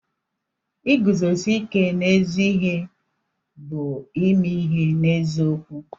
Iguzosi ike n'ezi ihe bụ ime ihe n'eziokwu.